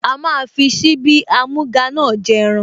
Ó máa fi síbí amúga náà jẹ ẹran